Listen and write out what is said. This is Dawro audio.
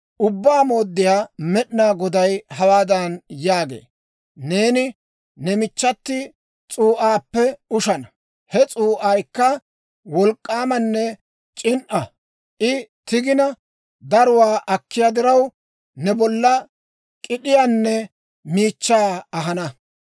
«Ubbaa Mooddiyaa Med'inaa Goday hawaadan yaagee; ‹Neeni ne michchati s'uu'aappe ushana; he s'uu'aykka wolk'k'aamanne c'in"a. I tigina, daruwaa akkiyaa diraw, ne bolla k'id'iyaanne miichchaa ahana.